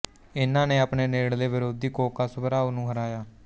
ਇਹਨਾਂ ਨੇ ਆਪਣੇ ਨੇੜਲੇ ਵਿਰੋਧੀ ਕੋਕਾ ਸੁਬਾਰਾਓ ਨੂੰ ਹਰਾਇਆ